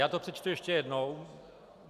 Já to přečtu ještě jednou.